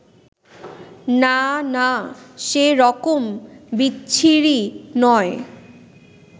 না না, সে রকম বিচ্ছিরি নয়